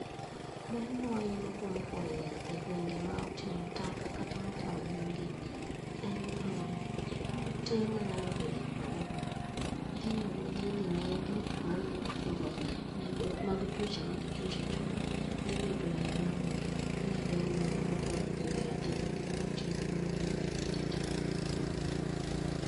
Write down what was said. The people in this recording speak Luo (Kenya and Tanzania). Ber mawayudo kuom kuoo yath e gwenge motimo taka kata motingo yugi en ni kute manyalo bedo kuonde, idhi negi mamiyo koro landruok mag tuoche maricho richo dhi bedo maonge. Mano e ber mawayudo kuom kuoyo yath e gwenge ma otimo yugi kata taka